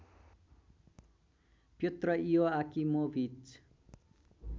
Pyotr Ioakimovich